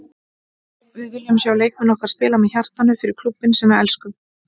Við viljum sjá leikmenn okkar spila með hjartanu- fyrir klúbbinn sem við elskum.